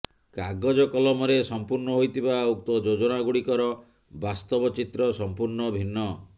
କାଗଜ କଲମରେ ସଂପୂର୍ଣ୍ଣ ହୋଇଥିବା ଉକ୍ତ ଯୋଜନା ଗୁଡ଼ିକର ବାସ୍ତବ ଚିତ୍ର ସଂପୂର୍ଣ୍ଣ ଭିନ୍ନ